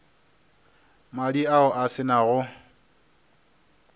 madi ao a se nago